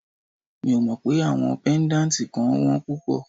Mi ò mọ pé àwọn pẹ́ndátì kan wón púpọ̀.